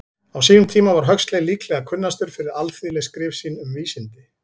Á sínum tíma var Huxley líklega kunnastur fyrir alþýðleg skrif sín um vísindi.